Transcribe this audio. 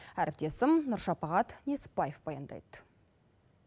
әріптесім нұршапағат несіпбаев баяндайды